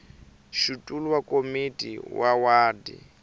xitulu wa komiti ya wadi